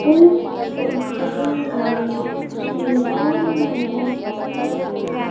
इस फोटो में श्री राम नजर आ र--